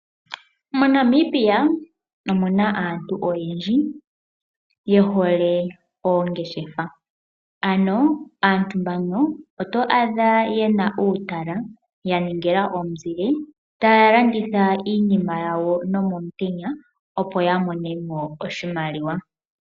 MoNamibia omuna aantu oyendji ye hole oongeshefa. Ano aantu mbano oto adha yena uutala ya ningila omuzile taya landitha iinima yawo nomomutenya opo ya mone mo oshimaliwa.